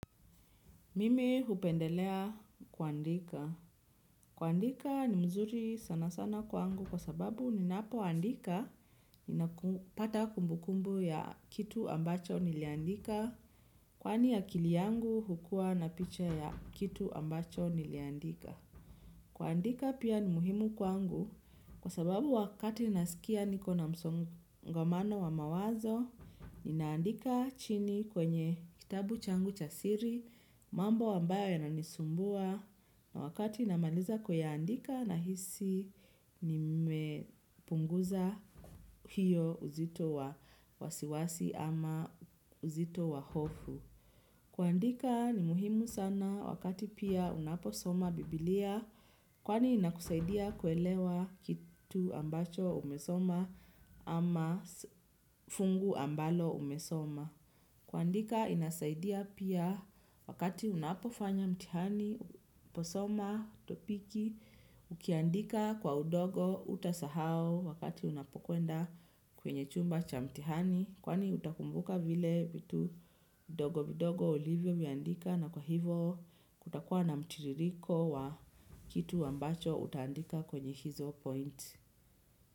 Mimi hupendelea kuandika. Kuandika ni mzuri sana sana kwangu kwa sababu ninapoandika ninapata kumbukumbu ya kitu ambacho niliandika. Kwani akili yangu hukua na picha ya kitu ambacho niliandika. Kuandika pia ni muhimu kwangu kwa sababu wakati nasikia nikobna msongamano wa mawazo. Ninaandika chini kwenye kitabu changu cha siri mambo ambayo yananisumbua na wakati namaliza kuyaandika nahisi nimepunguza hiyo uzito wa wasiwasi ama uzito wa hofu. Kuandika ni muhimu sana wakati pia unaposoma bibilia, kwani inakusaidia kuelewa kitu ambacho umesoma ama fungu ambalo umesoma. Kuandika inasaidia pia wakati unapofanya mtihani, unaposoma, topiki, ukiandika kwa udogo hutasahao wakati unapokwenda kwenye chumba cha mtihani, kwani utakumbuka vile vitu vidogo vidogo ulivyoviandika na kwa hivo kutakuwa na mtiririko wa kitu ambacho utaandika kwenye hizo point.